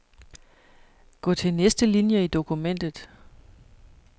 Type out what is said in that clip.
Gå til næste linie i dokumentet.